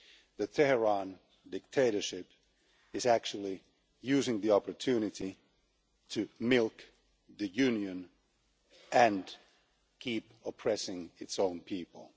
The Tehran dictatorship is actually using the opportunity to milk the Union and keep oppressing its own people.